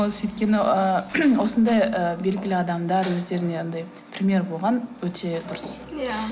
ол сөйткені ы осындай ы белгілі адамдар өздеріне анадай пример болған өте дұрыс иә